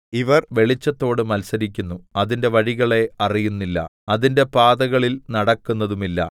ഇവർ വെളിച്ചത്തോട് മത്സരിക്കുന്നു അതിന്റെ വഴികളെ അറിയുന്നില്ല അതിന്റെ പാതകളിൽ നടക്കുന്നതുമില്ല